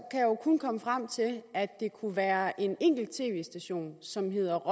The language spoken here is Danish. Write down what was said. kun komme frem til at det kunne være en enkelt tv station som hedder